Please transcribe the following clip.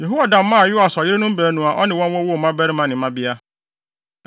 Yehoiada maa Yoas ɔyerenom baanu a ɔne wɔn wowoo mmabarima ne mmabea.